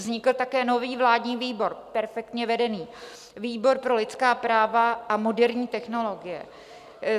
Vznikl také nový vládní výbor, perfektně vedený, výbor pro lidská práva a moderní technologie.